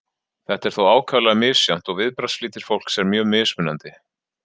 Þetta er þó ákaflega misjafnt og viðbragðsflýtir fólks er mjög mismunandi.